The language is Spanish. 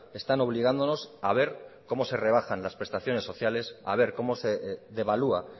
están obligándonos a ver como se rebajan las prestaciones sociales a ver como se devalúa